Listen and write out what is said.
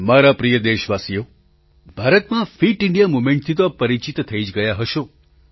મારા પ્રિય દેશવાસીઓ ભારતમાં ફિટ ઇન્ડિયા મૂવમેન્ટથી તો આપ પરિચિત થઇ જ ગયા હશો